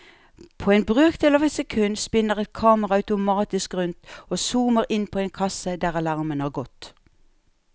På en brøkdel av et sekund spinner et kamera automatisk rundt og zoomer inn på en kasse der alarmen har gått.